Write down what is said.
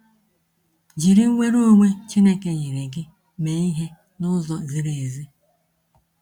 Jiri nnwere onwe Chineke nyere gị mee ihe n’ụzọ ziri ezi.